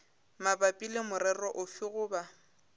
mabapi le morero ofe goba